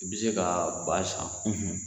I bi se ka ba san